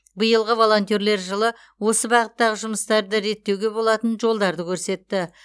биылғы волонтерлер жылы осы бағыттағы жұмыстарды реттеуге болатын жолдарды көрсетті